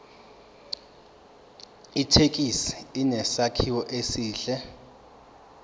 ithekisi inesakhiwo esihle